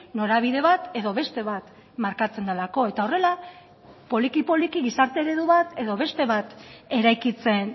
norabide bat edo beste bat markatzen delako eta horrela poliki poliki gizarte eredu bat edo beste bat eraikitzen